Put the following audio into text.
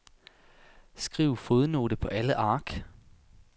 Skriv fodnote på alle ark.